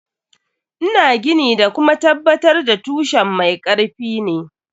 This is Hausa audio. Ina gini da kuma tabbatar da tushen mai karfi ne.